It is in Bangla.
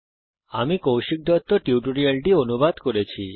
আমি কৌশিক দত্ত এই টিউটোরিয়াল টি অনুবাদ করেছি